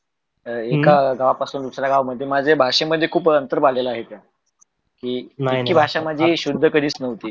अह एका गावापासून दुसरया गावमध्ये माझे भाषेमध्ये खूप अंतर बघायल त्यात इतकि भाश्या माझी शुद्ध कधीच नव्हती.